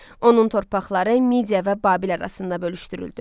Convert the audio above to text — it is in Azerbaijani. Onun torpaqları Midia və Babil arasında bölüşdürüldü.